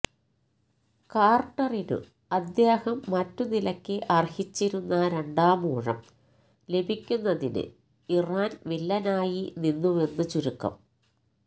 കാര്ട്ടറിനു അദ്ദേഹം മറ്റു നിലക്ക് അര്ഹിച്ചിരുന്ന രണ്ടാമൂഴം ലഭിക്കുന്നതിനു ഇറാന് വില്ലനായി നിന്നുവെന്ന് ചുരുക്കം